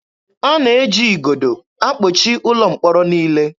A na-eji igodo akpọchi ụlọ mkpọrọ niile.